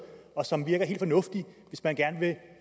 og som virker helt fornuftigt hvis man gerne